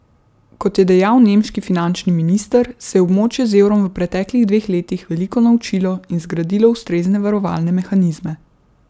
Kot je dejal nemški finančni minister, se je območje z evrom v preteklih dveh letih veliko naučilo in zgradilo ustrezne varovalne mehanizme.